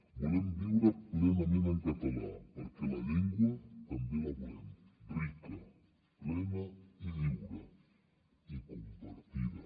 volem viure plenament en català perquè la llengua també la volem rica plena i lliure i compartida